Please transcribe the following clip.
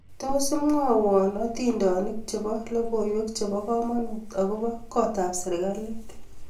Tos imwawon hatindonik chebo logoywek chebo kamanuut agoba gootab serikalit